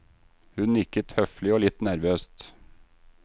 Hun nikket høflig og litt nervøst.